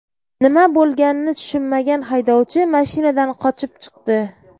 Nima bo‘lganini tushunmagan haydovchi mashinadan qochib chiqdi.